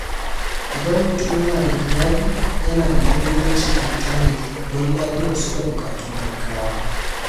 Idan mutum yana da iyali, yana da muhimmanci ayi tanadi don lafiyarsu da buƙatun gaggawa.